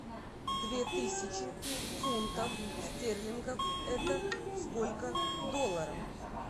две тысячи фунтов стерлингов это сколько долларов